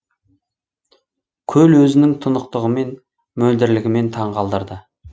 көл өзінің тұнықтығымен мөлдірлігімен таңғалдырды